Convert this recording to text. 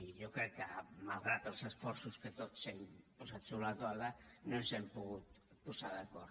i jo crec que malgrat els esforços que tots hem posat sobre la taula no ens hi hem pogut posar d’acord